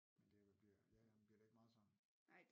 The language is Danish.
Men det vel bliver ja ja men bliver det ikke meget sådan